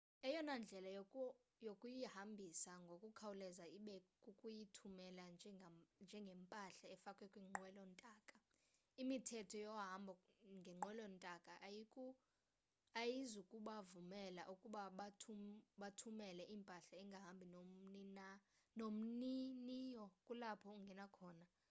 eyona ndlela yokuyihambisa ngokukhawuleza ibe kukuyithumela njengempahla efakwa kwinqwelo ntaka imithetho yohambo ngenqwelo ntaka ayizukubavumela ukuba bathumele impahla engahambi nomniniyo kulapho ungena khona